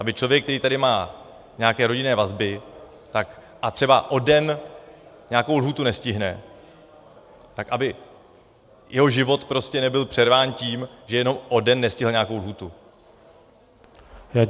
Aby člověk, který tady má nějaké rodinné vazby a třeba o den nějakou lhůtu nestihne, tak aby jeho život prostě nebyl přerván tím, že jenom o den nestihl nějakou lhůtu.